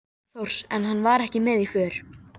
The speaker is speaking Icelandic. Þórs, en hann var ekki með í för.